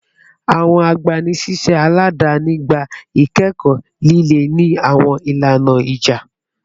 Awọn igbanisiṣẹ aladani gba ikẹkọ lile ni awọn ilana ija